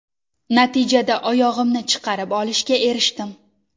Natijada oyog‘imni chiqarib olishga erishdim.